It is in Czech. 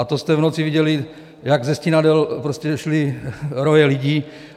A to jste v noci viděli, jak ze Stínadel šly roje lidí.